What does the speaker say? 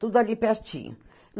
Tudo ali pertinho.